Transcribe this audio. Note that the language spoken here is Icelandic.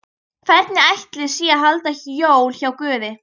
Hvernig ætli sé að halda jól hjá Guði?